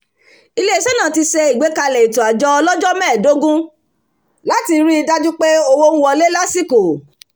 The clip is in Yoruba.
ilé iṣẹ́ náà ti ṣe àgbékalẹ̀ ètò àjọ ọlọ́jọ́ mẹ́ẹdógún láti ri í dájú pé owó ń wọlé lásìkò